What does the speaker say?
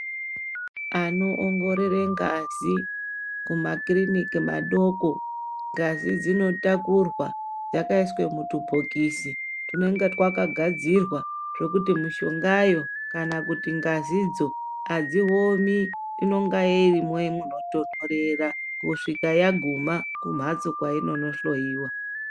Anoongorore ngazi kumakiriniki madoko ngazi dzinotakurwa yakaiswe mutubhokisi twunenge twakagadzirwa zvekuti mushongayo kana kuti ngazidzo hadziomi, inonga irimo munotondorera kusvika yaguma kumhatso kwainonohloyiwa.